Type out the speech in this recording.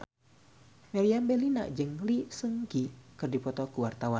Meriam Bellina jeung Lee Seung Gi keur dipoto ku wartawan